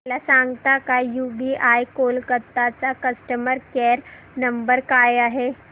मला सांगता का यूबीआय कोलकता चा कस्टमर केयर नंबर काय आहे